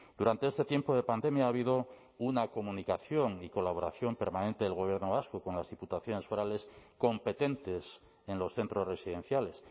durante este tiempo de pandemia ha habido una comunicación y colaboración permanente del gobierno vasco con las diputaciones forales competentes en los centros residenciales